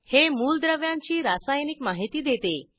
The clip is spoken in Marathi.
हे मूलद्रव्यांची रासायनिक माहिती देते